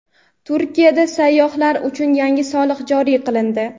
Turkiyada sayyohlar uchun yangi soliq joriy qilindi.